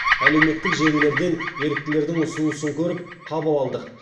әлеуметтік желілерден еріктілердің ұсынысын көріп қабыл алдық